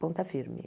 Ponta firme.